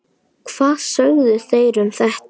Hvað sögðu þeir um þetta?